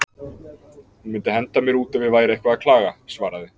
Hún myndi henda mér út ef ég væri eitthvað að klaga, svaraði